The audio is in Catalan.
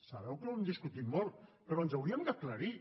sabeu que ho hem discutit molt però ens hauríem d’aclarir